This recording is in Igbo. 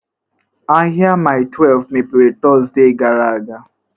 Ahịa Mile 12 mepere Tọzdee gara aga?